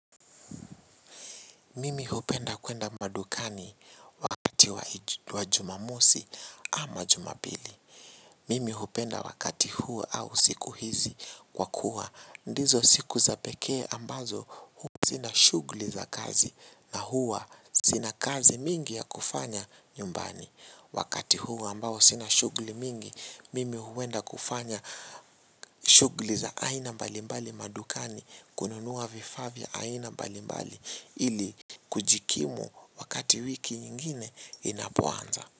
Mimi hupenda kwenda madukani wakati wa jumamosi ama jumapili. Mimi hupenda wakati huo au siku hizi kwa kuwa. Ndizo siku za pekee ambazo sina shughuli za kazi na huwa sina kazi mingi ya kufanya nyumbani. Wakati huo ambao sina shughuli mingi, mimi huenda kufanya shughuli za aina mbalimbali madukani, kununua vifaa vya aina mbalimbali ili kujikimu wakati wiki nyingine inapoanza.